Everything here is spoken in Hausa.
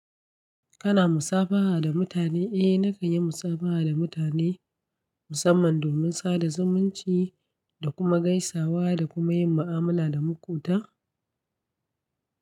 Kana musafaha da mutane? Eh nakan yi musafaha da mutane musamman domin sada zumunci da kuma gaisawa da kuma yin ma'amala da makwobta.